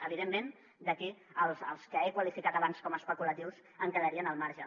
evidentment aquí els que he qualificat abans com a especulatius en quedarien al marge